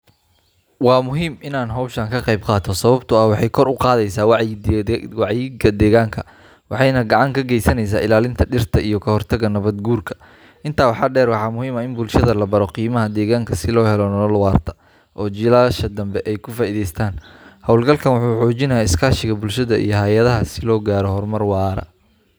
Waa muhiim in aan hawshan ka qayb qaato sababtoo ah waxay kor u qaadaysaa wacyiga deegaanka, waxayna gacan ka geysaneysaa ilaalinta dhirta iyo ka hortagga nabaad guurka. Intaa waxaa dheer, waxaa muhiim ah in bulshada la baro qiimaha deegaanka si loo helo nolol waarta oo jiilasha dambe ay ka faa’iideystaan. Hawlgalkaan wuxuu xoojinayaa iskaashiga bulshada iyo hay’adaha si loo gaaro horumar waara.